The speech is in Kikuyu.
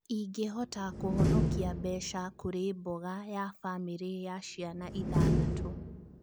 ĩngĩhota kũhonokia mbeca kũri mboga ya bamĩrĩ ya ciana ithathatũ